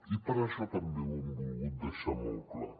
i per això també ho hem volgut deixar molt clar